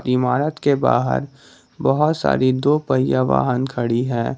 इमारत के बाहर बहोत सारी दो पहिया वाहन खड़ी है।